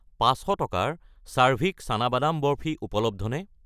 500 টকাৰ চাৰ্ভিক চানা বাদামৰ বৰ্ফি উপলব্ধ নে?